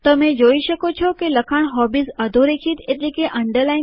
જોઈ શકો છો કે લખાણ હોબીઝ અધોરેખિત થયેલ છે અને રંગ વાદળી છે